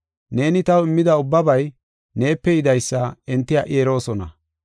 Neeni taw immida ubbabay neepe yidaysa enti ha77i eroosona.